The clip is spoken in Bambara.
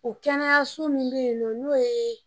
O kɛnɛyaso min bɛ yen nɔ n'o ye